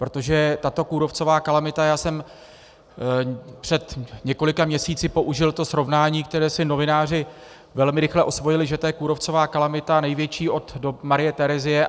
Protože tato kůrovcová kalamita, já jsem před několika měsíci použil to srovnání, které si novináři velmi rychle osvojili, že to je kůrovcová kalamita největší od dob Marie Terezie.